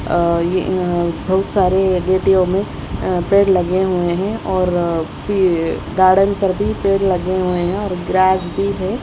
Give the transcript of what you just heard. अह ये अ बहुत सारे गेटियों अ में पेड़ लगे हुए हैं और अ पी गार्डन पर भी पेड़ लगे हुए हैं और ग्रास भी है।